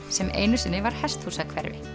sem einu sinni var hesthúsahverfi